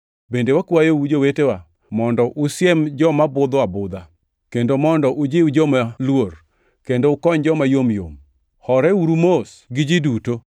Bende wakwayou, jowetewa, mondo usiem joma budho abudha, kendo mondo ujiw joma luor, kendo ukony joma yomyom. Horeuru mos gi ji duto.